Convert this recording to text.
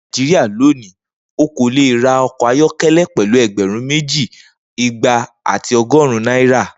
Ni Naijiria loni o ko le ra ọkọ ayọkẹlẹ pẹlu ẹgbẹrun meji, igba ati ọgọrun naira.